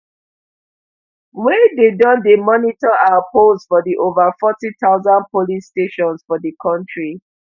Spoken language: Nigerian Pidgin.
wey don dey monitor our polls for di ova forty thousand polling stations for di kontri